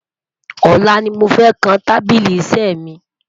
olá ní mọ fẹ kàn tábìlì iṣé mi